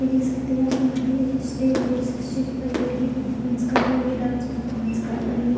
ये देख सकते है यहाँ पे यहां पे ए स्टेज है स्टेज पे इस स्टेज पे लड़की परफॉरमेंस कर रही है डांस परफॉरमेंस कर रही है।